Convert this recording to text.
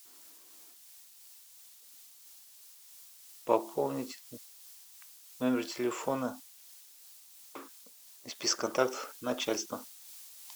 пополнить номер телефона из списка контактов начальство